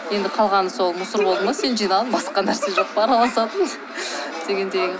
енді қалғаны сол мусор болды ма сен жинаған басқа нәрсе жоқ па араласатын дегендей